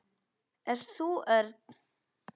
Ert þú Örn?